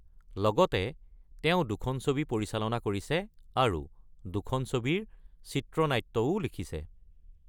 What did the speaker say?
লগতে তেওঁ দুখন ছবি পৰিচালনা কৰিছে আৰু দুখন ছবিৰ চিত্ৰনাট্যও লিখিছে।